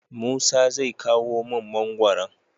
musa zai kawo mun mangoron